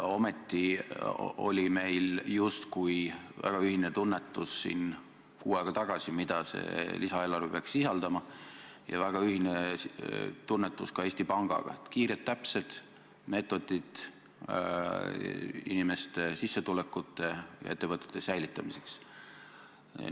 Ometi oli meil siin kuu aega tagasi justkui väga ühine tunnetus, mida see lisaeelarve peaks sisaldama, ja väga ühine tunnetus ka Eesti Pangaga – kiired täpsed meetodid inimeste sissetulekute ja ettevõtete säilitamiseks.